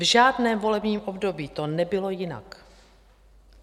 V žádném volebním období to nebylo jinak.